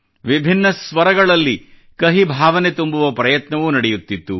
ವಿಭಿನ್ನ ಸ್ವರಗಳಲ್ಲಿ ಕಹಿ ಭಾವನೆ ತುಂಬುವ ಪ್ರಯತ್ನವೂ ನಡೆಯುತ್ತಿತ್ತು